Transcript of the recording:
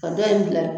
Ka dɔ in bila